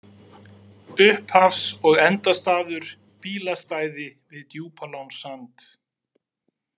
Upphafs- og endastaður: Bílastæði við Djúpalónssand.